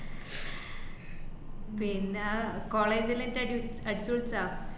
പിന്ന college ലത്തെരു അടിപൊളി staff